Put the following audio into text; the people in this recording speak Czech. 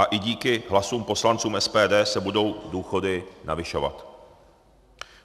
A i díky hlasům poslanců SPD se budou důchody navyšovat.